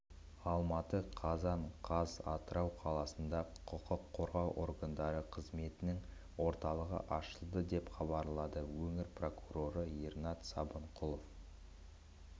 алматы қазан қаз атырау қаласында құқыққорғау органдары қызметінің орталығы ашылды деп хабарлады өңір прокуроры ернат сыбанқұлов